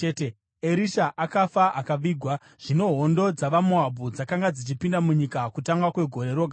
Erisha akafa akavigwa. Zvino hondo dzavaMoabhu dzakanga dzichipinda munyika kutanga kwegore roga roga.